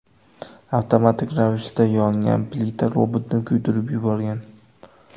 Avtomatik ravishda yongan plita robotni kuydirib yuborgan.